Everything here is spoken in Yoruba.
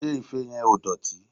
Ṣé ife yẹn ò dọ̀tí?